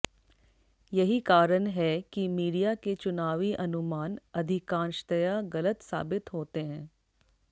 यही कारण है कि मीडिया के चुनावी अनुमान अधिकांशतया गलत साबित होते हैं